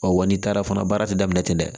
wa n'i taara fana baara ti daminɛ ten dɛ